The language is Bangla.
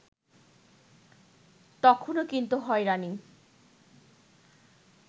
তখনো কিন্তু হয়রানি